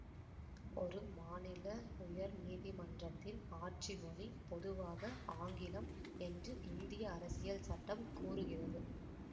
ஒரு மாநில உயர்நீதிமன்றத்தின் ஆட்சிமொழி பொதுவாக ஆங்கிலம் என்று இந்திய அரசியல் சட்டம் கூறுகிறது